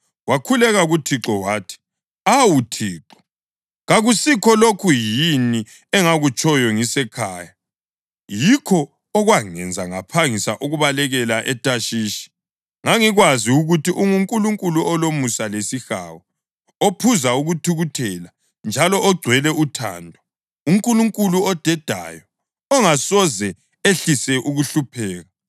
Wakhuleka kuThixo wathi, “Awu Thixo, kakusikho lokhu yini engakutshoyo ngisesekhaya? Yikho okwangenza ngaphangisa ukubalekela eThashishi. Ngangikwazi ukuthi unguNkulunkulu olomusa lesihawu, ophuza ukuthukuthela njalo ogcwele uthando, uNkulunkulu odedayo ongasoze ehlise ukuhlupheka.